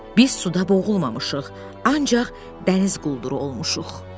Biz suda boğulmamışıq, ancaq dəniz qulduru olmuşuq.